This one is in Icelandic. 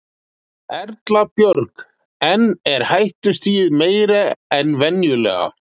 Erla Björg: En er hættustigið meira en venjulega?